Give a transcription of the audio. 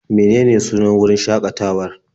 Menene sunan wurin shaƙatawar?